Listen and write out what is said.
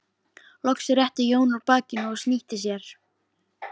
Loks rétti Jón úr bakinu og snýtti sér.